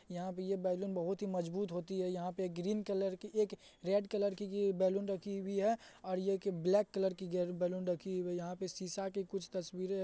यहां पे ये बैलून बहुत ही मजबूत होती हैं। यहां पे एक ग्रीन कलर की एक रेड कलर की बैलून रखी हुई है और एक ब्लैक कलर की भी गेर बैलून रखी हुई है ।यहां पे शीशा की कुछ तस्वीरे।--